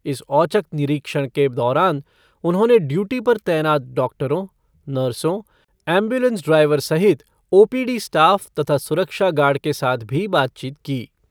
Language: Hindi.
इस औचक निरीक्षण के दौरान उन्होंने ड्यूटी पर तैनात डॉक्टरों, नर्सों, एमब्यूलेंस ड्राइवर सहित ओ पी डी स्टाफ़ तथा सुरक्षा गार्ड के साथ भी बातचीत की।